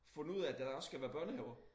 Fundet ud af at der også skal være børnehaver